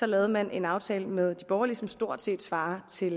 lavede man en aftale med de borgerlige som stort set svarede til